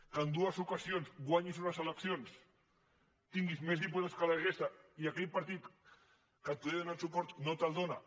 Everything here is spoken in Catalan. que en dues ocasions guanyis unes eleccions tinguis més diputats que la resta i aquell partit que et podia donar suport no te’l dóna